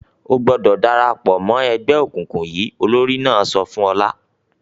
"O gbọdọ̀ dára pọ̀ mọ́ ẹgbẹ́ òkùnkùn yìí!" Olórí náà sọ fún Ọlá.